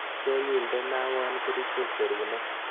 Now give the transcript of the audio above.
Nyo nyindenawa kerichek serunek.